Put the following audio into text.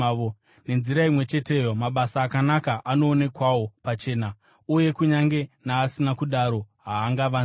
Nenzira imwe cheteyo, mabasa akanaka anoonekwawo pachena, uye kunyange naasina kudaro haangavanziki.